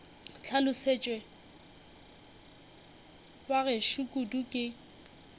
hlolosetšwe ba gešo kudu ke